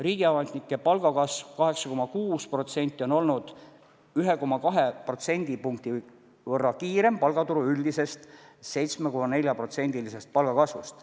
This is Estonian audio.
Riigiametnike palga kasv 8,6% on olnud 1,2% protsendi võrra kiirem palgaturu üldisest 7,4%-lisest palgakasvust.